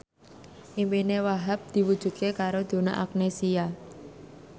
impine Wahhab diwujudke karo Donna Agnesia